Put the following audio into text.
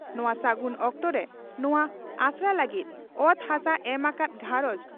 ᱱᱚᱣᱟ ᱥᱟᱹᱜᱩᱱ ᱚᱠᱛᱚᱨᱮ ᱱᱚᱣᱟ ᱟᱥᱲᱟ ᱞᱟᱹᱜᱤᱫ ᱚᱛ ᱦᱟᱥᱟ ᱮᱢ ᱟᱠᱟᱫ ᱜᱷᱟᱨᱚᱸᱡᱽ